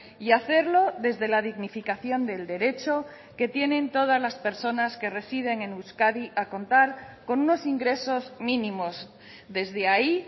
y hacerlo desde la dignificación del derecho que tienen todas las personas que residen en euskadi a contar con unos ingresos mínimos desde ahí